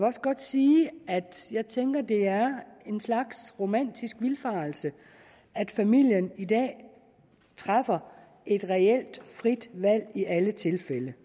også godt sige at jeg tænker at det er en slags romantisk vildfarelse at familien i dag træffer et reelt frit valg i alle tilfælde